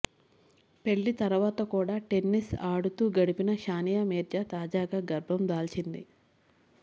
పెళ్లి తర్వాత కూడా టెన్నిస్ ఆడుతూ గడిపిన సానియామీర్జా తాజాగా గర్భం దాల్చింది